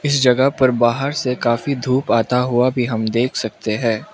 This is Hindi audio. इस जगह पर बाहर से काफी धूप आता हुआ भी हम देख सकते हैं।